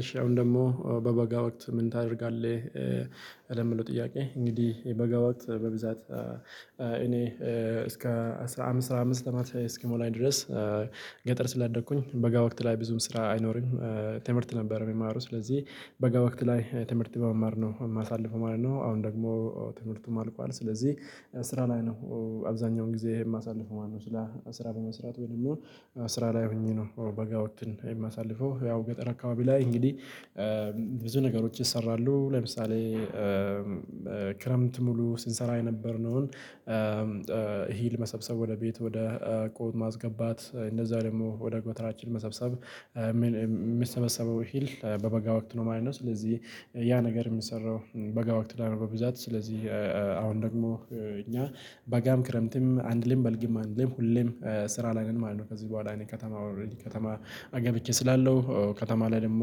እሺ አሁን ደግሞ በበጋ ወቅት ምን ታደርጋለህ ለሚለው ጥያቄ? እንግዲህ በበጋ ወቅት በብዛት እኔ እስከ አስራ አምስት አምስት አመት እስኪሞላኝ ድረስ ገጠር ስላደኩኝ በጋ ወቅት ላይ ብዙም ስራ አይኖርም። ትምህርት ነበር የሚማሩ ስለዚህ በጋ ወቅት ላይ ትምህርት በመማር ነው ማሳልፈው ማለት ነው። አሁን ደግሞ ትምህርቱም አልቋል ስለዚህ ስራ ላይ ነው። አብዛኛውን ጊዜ ማሳልፍ ማነው? ስራ በመስራት ወይም ደግሞ ስራ ላይ ሆኜ ነው በጋ ወቅትን የማሳልፈው። ያው ገጠር አካባቢ ላይ እንግዲህ ብዙ ነገሮች ይሰራሉ ለምሳሌ ክረምት ሙሉ ስንሰራ የነበርነውን ሂል መሰብሰብ ወደ ቤት ወደ ቆጥ ማስገባት እንደዛ ደግሞ ወደ ጎተራችን መሰብሰብ የሚሰበሰበው ሂል በበጋ ወቅት ነው ማለት ነው። ስለዚህ ያ ነገር የሚሰራው በጋ ወቅት ላይ ነው። በብዛት ስለዚህ አሁን ደግሞ እኛ በጋም ክረምትም አንልም በልግም አንልም ሁሌም ስራ ላይ ማለት ነው። ከዚህ በኋላ እኔ ከተማ ኦልረዲ ከተማ አገብቼ ስላለው ከተማ ላይ ደግሞ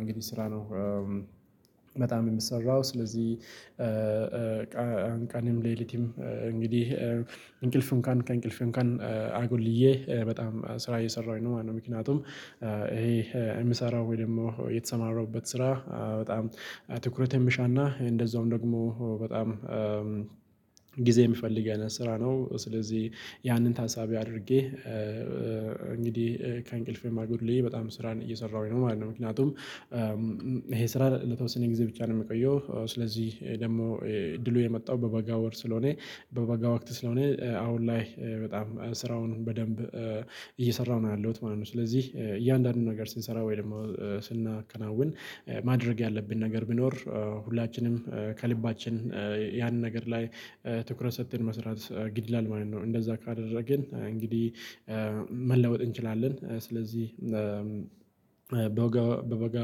እንግዲህ ስራ ነው። በጣም የምሰራው ስለዚህ ቀንም ሌሊቲም እንግዲህ እንቅልፍን ከእንቅልፍን አጎልዬ በጣም ስራ እየሰራሁኝ ነው ማለት ነው። ምክንያቱም ይሄ ምሰራው ወይ ደግሞ የተሰማራሁበት ስራ በጣም ትኩረት የምሻና እንደዛውም ደግሞ በጣም ጊዜ ሚፈልገን ስራ ነው። ስለዚህ ያንን ታሳቢ አድርጌ እንግዲህ ከእንቅልፌ ማጎድሌ በጣም ስራን እየሰራሁኝ ነው ማለት ነው። ምክንያቱም ይሄ ስራ ለተወሰነ ጊዜ ብቻ ነው ሚቆየው ስለዚህ ደግሞ እድሉ የመጣው በበጋ ወር ስለሆነ በበጋ ወቅት ስለሆነ አሁን ላይ በጣም ስራውን በደንብ እየሰራሁ ነው ያለሁት ማለት ነው። ስለዚህ እያንዳንዱን ነገር ስንሰራ ወይ ደግሞ ስናከናውን ማድረግ ያለብን ነገር ቢኖር ሁላችንም ከልባችን ያንን ነገር ላይ ትኩረት ሰጥተን መስራት ግድላል ማለት ነው። እንደዛ ካደረግን እንግዲህ መለወጥ እንችላለን። ስለዚህ በበጋ በበጋ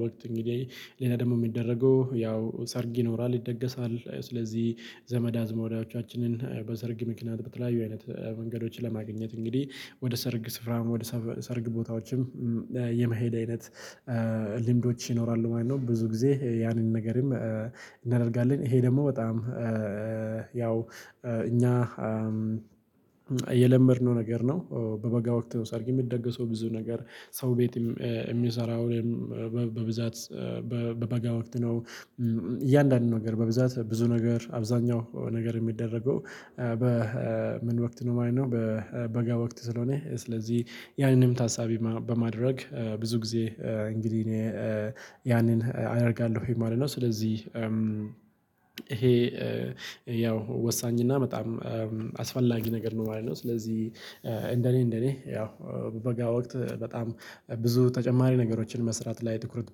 ወቅት እንግዲህ ሌላ ደግሞ ሚደረገው ያው ሰርጊ ይኖራል ይደገሳል ስለዚህ ዘመድ አዝማዶችንን በሰርግ ምክንያት በተለያዩ አይነት መንገዶችን ለማግኘት እንግዲህ ወደ ሰርግ ስፍራም ወደ ሰርግ ቦታዎችም የመሄድ አይነት ልምዶች ይኖራሉ ማለት ነው። ብዙ ጊዜ ያንን ነገርም እናደርጋለን። ይሄ ደግሞ በጣም ያው እኛ የለመድነው ነገር ነው። በበጋ ወቅት ነው ሰርግ የሚደገሰው ብዙ ነገር ሰው ቤት እሚሰራው እኔም በብዛት በበጋ ወቅት ነው። እያንዳንዱ ነገር በብዛት ብዙ ነገር አብዛኛው ነገር እሚደረገው በ ምን ወቅት ነው ማለት ነው። በበጋ ወቅት ስለሆነ ስለዚህ ያንንም ታሳቢ በማድረግ ብዙ ጊዜ እንግዲህ እኔ ያንን አደርጋለሁኝ ማለት ነው። ስለዚህ ይሄ ያው ወሳኝና በጣም አስፈላጊ ነገር ነው ማለት ነው። ስለዚህ እንደኔ እንደኔ ያው በጋ ወቅት በጣም ብዙ ተጨማሪ ነገሮችን መስራት ላይ ትኩረት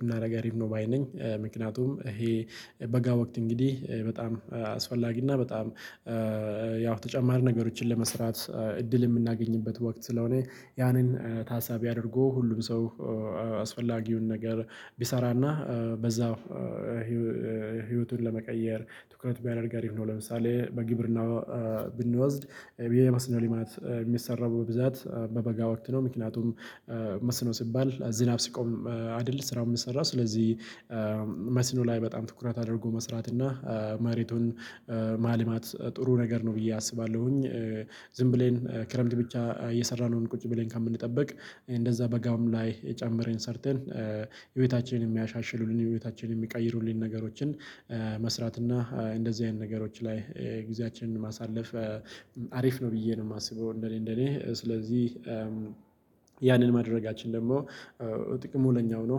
ብናደርግ አሪፍ ነው። በአይነኝ ምክንያቱም ይሄ በጋ ወቅት እንግዲህ በጣም አስፈላጊ እና በጣም ያው ተጨማሪ ነገሮችን ለመስራት እድል የምናገኝበት ወቅት ስለሆነ ያንን ታሳቢ አድርጎ ሁሉም ሰው አስፈላጊውን ነገር ቢሰራ እና በዛው ህይወቱን ለመቀየር ትኩረት ቢያደርግ አሪፍ ነው። ለምሳሌ በግብርና ብንወስድ የመስነው ሊማት ሚሰራው በብዛት በበጋ ወቅት ነው ምክንያቱም መስኖ ሲባል ዝናብ ሲቆም አይደለ ስራው የሚሰራው ስለዚህ መስኖ ላይ በጣም ትኩረት አድርጎ መስራት እና መሬቱን ማልማት ጥሩ ነገር ነው። ብዬ አስባለሁኝ። ዝም ብለን ክረምት ብቻ እየሰራን ቁጭ ብለን ከምንጠብቅ እንደዛ በጋም ላይ ጨመረን ሰርተን ህይወታችንን ሚያሻሽሉልን ህይወታችንን ሚቀይሩልን ነገሮችን መስራት እና እንደዚህ አይነት ነገሮች ላይ ጊዜያችንን ማሳለፍ አሪፍ ነው። ብዬ ነው ማስበው። እንደኔ እንደኔ ስለዚህ ያንን ማድረጋችን ደግሞ ጥቅሙ ለኛው ነው።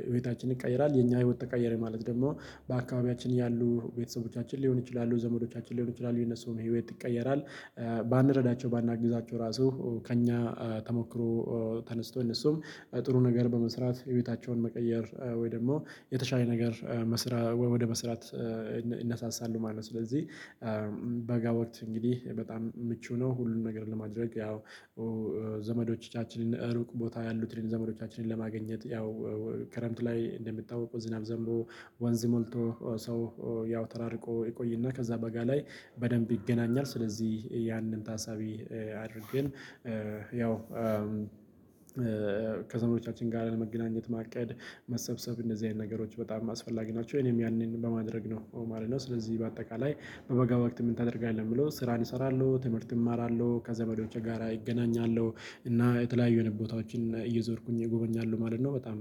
የህይወታችንን ይቀይራል የኛ ህይወት ተቀየረ ማለት ደግሞ በአካባቢያችን ያሉ ቤተሰቦቻችን ሊሆን ይችላሉ ዘመዶቻችን ሊሆን ይችላሉ የነሱም ህይወት ይቀየራል። ባንረዳቸው ባናግዛቸው ራሱ ከእኛ ተሞክሮ ተነስቶን እነሱም ጥሩ ነገር በመስራት የቤታቸውን መቀየር ወይ ደግሞ የተሻለ ነገር መስራት ወይ ወደ መስራት ይነሳሳሉ ማለት ነው። ስለዚህ በጋ ወቅት እንግዲህ በጣም ምቹ ነው። ሁሉንም ነገር ለማድረግ ያው ዘመዶቻችንን ሩቅ ቦታ ያሉትን ዘመዶቻችንን ለማግኘት ያው ከረምት ላይ እንደሚታወቁ ዝናብ ዘምቦ ወንዝ ሞልቶ ሰው ያው ተራርቆ ይቆይና ከዛ በጋ ላይ በደንብ ይገናኛል። ስለዚህ ያንን ታሳቢ አድርገን ያው ከዘመዶቻችን ጋር ለመገናኘት ማቀድ መሰብሰብ እንደዚህ አይነት ነገሮች በጣም አስፈላጊ ናቸው። እኔም ያኔን በማድረግ ነው ማለት ነው። ስለዚህ በአጠቃላይ በበጋ ወቅት ምን ታደርጋለህ? ሚለው ስራን ይሰራሉ ትምህርት እማራለሁ ከዘመዶቹ ጋራ እገናኛለሁ እና የተለያዩ አይነት ቦታዎችን እየዞርኩኝ እጎበኛለሁ ማለት ነው። በጣም